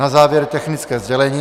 Na závěr technické sdělení.